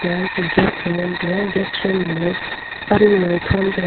gate a ngan tega gate soi ma gaga pan low a thom tega.